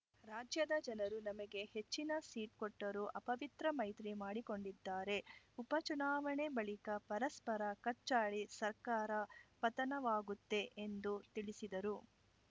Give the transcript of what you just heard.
ರಾಜ್ಯದ ಜನರು ನಮಗೆ ಹೆಚ್ಚಿನ ಸೀಟ್‌ ಕೊಟ್ಟರೂ ಅಪವಿತ್ರ ಮೈತ್ರಿ ಮಾಡಿಕೊಂಡಿದ್ದಾರೆ ಉಪಚುನಾವಣೆ ಬಳಿಕ ಪರಸ್ಪರ ಕಚ್ಚಾಡಿ ಸರ್ಕಾರ ಪತನವಾಗುತ್ತೆ ಎಂದು ತಿಳಿಸಿದರು